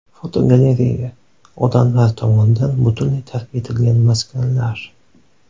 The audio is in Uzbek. Fotogalereya: Odamlar tomonidan butunlay tark etilgan maskanlar.